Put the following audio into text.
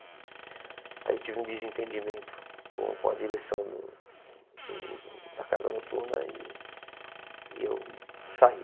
Aí eu tive um desentendimento com com a direção do da Casa Noturna e e eu saí.